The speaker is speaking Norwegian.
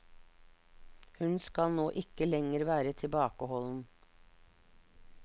Hun skal nå ikke lenger være tilbakeholden.